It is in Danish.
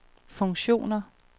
funktioner